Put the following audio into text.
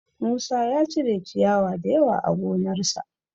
Musa ya cire ciyawa da yawa a gonarsa